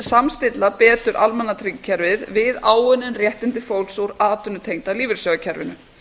samstilla betur almannatryggingakerfið við áunnin réttindi fólks úr atvinnutengda lífeyrissjóðakerfinu